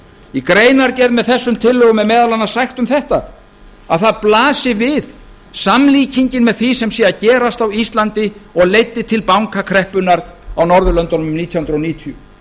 í greinargerð með þessum tillögum er meðal annars sagt um þetta að það blasi við samlíkingin með því sem sé að gerast á íslandi og leiddi til bankakreppunnar á norðurlöndunum nítján hundruð níutíu